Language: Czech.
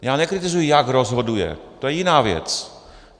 Já nekritizuji, jak rozhoduje, to je jiná věc.